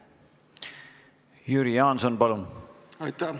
Jüri Jaanson, palun!